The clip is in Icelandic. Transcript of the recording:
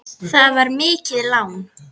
Það var mikið lán.